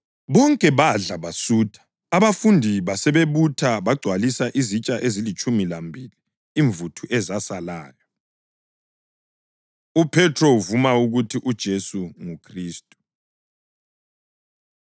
Bonke badla basutha, abafundi basebebutha bagcwalisa izitsha ezilitshumi lambili imvuthu ezasalayo. UPhethro Uvuma Ukuthi UJesu NguKhristu